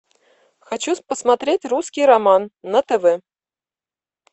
хочу посмотреть русский роман на тв